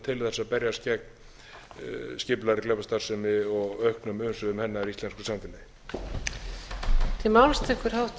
til þess að berjast gegn skipulagðri glæpastarfsemi og auknum umsvifum hennar í íslensku samfélagi